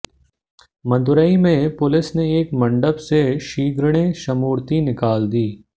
मदुराई में पुलिस ने एक मंडप से श्रीगणेशमूर्ति निकाल दी